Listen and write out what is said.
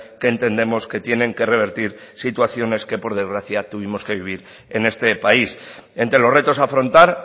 que entendemos que tienen que revertir situaciones que por desgracia tuvimos que vivir en este país entre los retos a afrontar